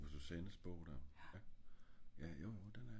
Du tænker på susanne's bog der?